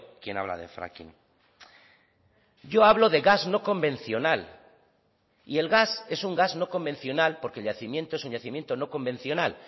quien habla de fracking yo hablo de gas no convencional y el gas es un gas no convencional porque el yacimiento es un yacimiento no convencional